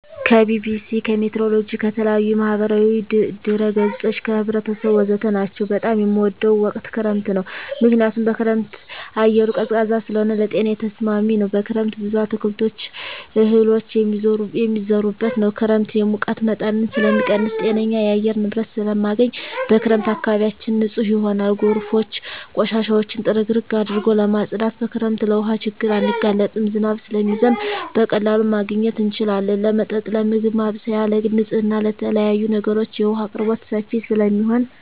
ከቢቢሲ, ከሜትሮሎጅ, ከተለያዪ የማህበራዊ ድረ ገፆች , ከህብረተሰቡ ወዘተ ናቸው። በጣም የምወደው ወቅት ክረምት ነው ምክንያቱም በክረምት አየሩ ቀዝቃዛ ስለሆነ ለጤናዬ ተስማሚ ነው። በክረምት ብዙ አትክልቶች እህሎች የሚዘሩበት ነው። ክረምት የሙቀት መጠንን ስለሚቀንስ ጤነኛ የአየር ንብረት ስለማገኝ። በክረምት አካባቢያችን ንፁህ ይሆናል ጎርፎች ቆሻሻውን ጥርግርግ አድርገው ስለማፀዱት። በክረምት ለውሀ ችግር አንጋለጥም ዝናብ ስለሚዘንብ በቀላሉ ማግኘት እንችላለን ለመጠጥ ለምግብ ማብሰያ ለግል ንፅህና ለተለያዪ ነገሮች የውሀ አቅርቦት ሰፊ ስለሚሆን።